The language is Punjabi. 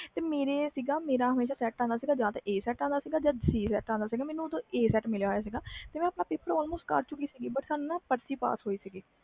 ਮੇਰਾ ਕਿ ਸੀ ਮੇਰਾ ਹਮੇਸ਼ਾ A set ਆਂਦਾ ਸੀ ਜਾ C set ਆਂਦਾ ਮੇਰਾ ਕਿ ਸੀ ਮੈਨੂੰ ਉਸ time C set ਮਿਲਿਆ ਸੀ ਮੈਂ ਆਪਣਾ ਪੇਪਰ ਕਰ ਚੁਕੀ ਸੀ